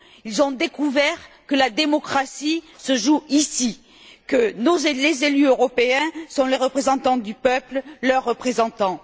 Ils ont découvert que la démocratie se joue ici, que les élus européens sont les représentants du peuple, leurs représentants.